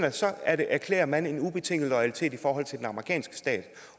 at så erklærer man en ubetinget loyalitet i forhold til den amerikanske stat